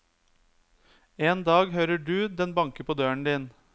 En dag hører du den banke på døren din.